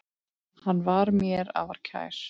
Hann var mér afar kær.